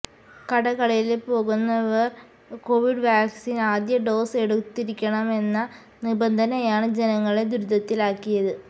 കടകളില് പോകുന്നവര് covid vaccine ആദ്യ ഡോസ് എടുത്തിരിക്കണമെന്ന നിബന്ധനയാണ് ജനങ്ങളെ ദുരിതത്തിലാക്കിയത്